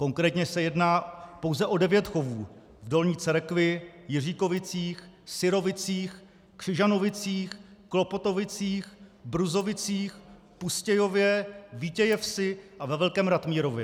Konkrétně se jedná pouze o devět chovů v Dolní Cerekvi, Jiříkovicích, Syrovicích, Křižanovicích, Klopotovicích, Bruzovicích, Pustějově, Vítějevsi a ve Velkém Ratmírově.